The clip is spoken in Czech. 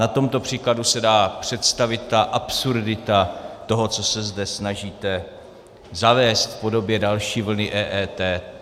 Na tomto příkladu se dá představit ta absurdita toho, co se zde snažíte zavést v podobě další vlny EET.